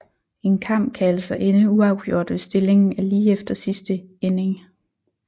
En kamp kan altså ende uafgjort hvis stillingen er lige efter sidste inning